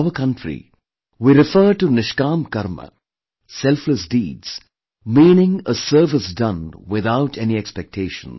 In our country we refer to 'NishKaam Karma', selfless deeds, meaning a service done without any expectations